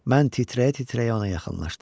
Mən titrəyə-titrəyə ona yaxınlaşdım.